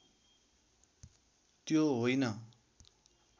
त्यो होइन